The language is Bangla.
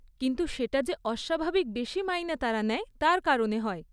কিন্তু সেটা যে অস্বাভাবিক বেশি মাইনে তারা নেয়, তার কারণে হয়।